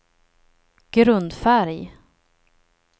grundfärg